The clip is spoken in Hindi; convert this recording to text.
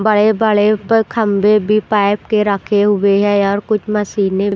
बड़े बड़े पर खंबे भी पाइप के रखे हुए हैं और कुछ मशीनें --